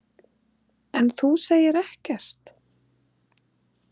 En þú segir ekkert.